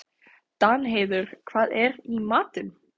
Danheiður, hvað er í matinn?